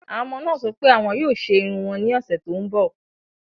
Àwọn ọmọ náà sọ pé àwọn yóò ṣe irun wọn ní ọ̀sẹ̀ tó ń bọ̀.